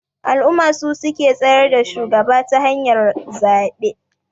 Al'umma su suke tsayar da shugaba ta hanyar zabe